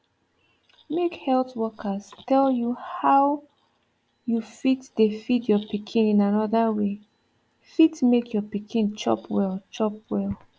make health workers tell you how you fit dey feed your pikin in another way fit make your pikin chop well chop well